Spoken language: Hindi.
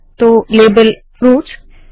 तो लेबल - फ्रूट्स